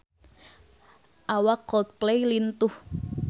Awak Coldplay lintuh